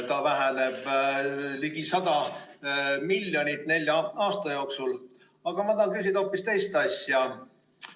See väheneb ligi 100 miljonit nelja aasta jooksul, aga ma tahan küsida hoopis teist asja.